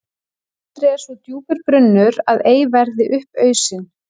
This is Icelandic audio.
Aldrei er svo djúpur brunnur að ei verði upp ausinn.